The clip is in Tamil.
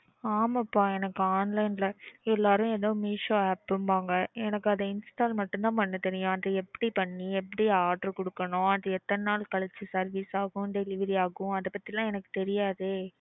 ஆமாப்பா எனக்கு online ல எல்லாரும் எதோ Meesho app ன்பாங்க எனக்கு அதை install மட்டும் தான் பண்ண தெரியும். அது எப்படி பண்ணி எப்படி order கொடுக்கணும் அது எத்தன நாள் கழிச்சு service ஆகும் delivery ஆகும் அதபத்திலாம் எனக்கு தெரியாதே.